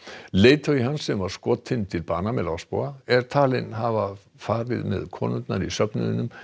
leiðtogi hans sem skotinn var til bana með er talinn hafa farið með konurnar í söfnuðinum